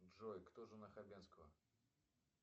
джой кто жена хабенского